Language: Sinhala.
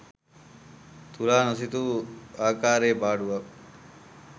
තුලා නොසිතූ ආකාරයේ පාඩුවක්